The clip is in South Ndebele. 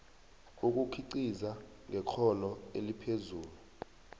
ukukhiqiza ngekghono eliphezulu